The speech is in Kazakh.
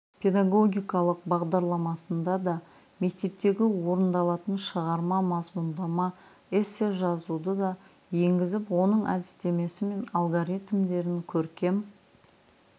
педагогикалық бағдарламасында да мектептегі орындалатын шығарма мазмұндама эссе жазуды да енгізіп оның әдістемесі мен алгоритімдерін көркем